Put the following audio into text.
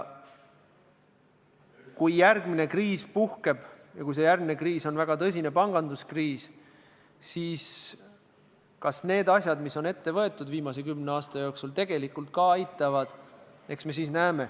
Kui järgmine kriis puhkeb ja kui see on väga tõsine panganduskriis, eks me siis näeme, kas need asjad, mis on ette võetud viimase kümne aasta jooksul, tegelikult ka aitavad.